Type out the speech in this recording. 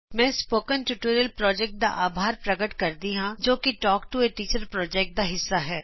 ਮੈਂ spoken tutorial ਦਾ ਅਭਾਰ ਪ੍ਰਕਟ ਕਰਦੀ ਹਾਂ ਜੋ ਕਿ talk to a teacher project ਦਾ ਹਿੱਸਾ ਹੈ